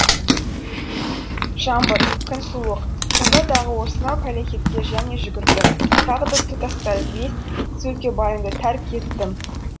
жаңбыр күн суық сонда дағы осынау пәлекетке және жүгірдім тағы да тұтастай бес сөлкебайымды тәрк еттім